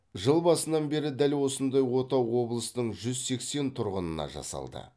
жыл басынан бері дәл осындай ота облыстың жүз сексен тұрғынына жасалды